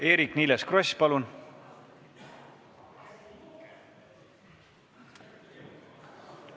Eerik-Niiles Kross, palun!